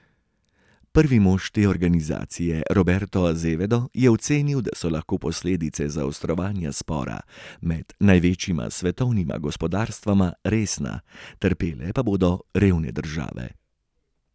Prvi mož te organizacije Roberto Azevedo je ocenil, da so lahko posledice zaostrovanja spora med največjima svetovnima gospodarstvoma resna, trpele pa bodo revne države.